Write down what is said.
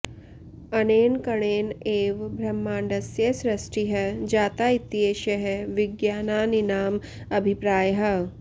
अनेन कणेन एव ब्रह्माण्डस्य सृष्टिः जाता इत्येषः विज्ञानिनाम् अभिप्रायः